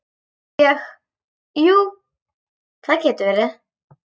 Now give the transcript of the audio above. Ég, jú, það getur verið.